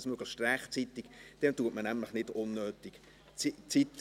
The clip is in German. Tun Sie dies möglichst rechtzeitig, dann verbraucht man nicht unnötig Zeit.